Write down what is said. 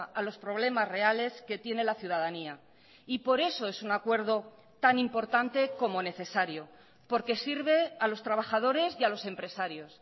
a los problemas reales que tiene la ciudadanía y por eso es un acuerdo tan importante como necesario porque sirve a los trabajadores y a los empresarios